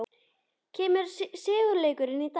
Kemur sigurleikurinn í dag?